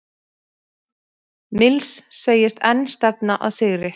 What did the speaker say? Mills segist enn stefna að sigri